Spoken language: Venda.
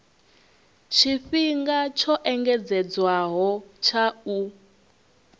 tshifhinga tsho engedzedzwaho tsha u